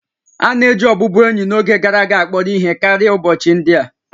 A na-eji ọbụbụenyi n'oge gara aga akpọrọ ihe karịa ụbọchị ndị a